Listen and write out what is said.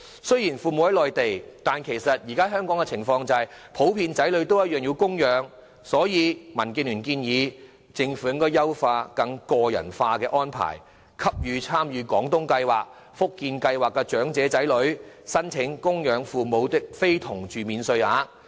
雖然父母在內地居住，但身在香港的子女普遍仍需供養他們，所以民建聯建議政府應優化有關計劃，作出更個人化的安排，讓參與廣東計劃、福建計劃的長者的子女可申請供養非同住父母免稅額。